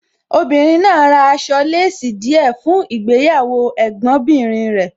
Obìnrin náà ra aṣọ láàsì díẹ̀ fún ìgbéyàwó Ẹ̀gbọ́n bìnrin rẹ̀.